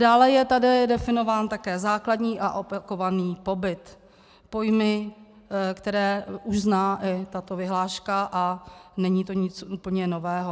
Dále je tady definován také základní a opakovaný pobyt - pojmy, které už zná i tato vyhláška, a není to nic úplně nového.